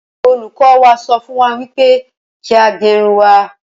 Olùkọ́ wa sọ fún wa wípé kí a gerun wa